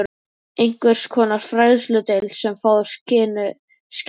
Einhvers konar fræðsludeild, sem fáir kynnu skil á.